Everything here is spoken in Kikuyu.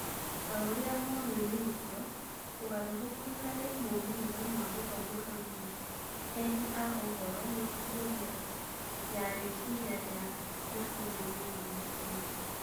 Taũria monanĩĩtio, ũgarũrũku harĩ moimĩrĩra ma gũthoma hamwe endi a ũhoro na kũhũthĩra ya rĩciria rĩa na ũmenyo wa gĩkundi.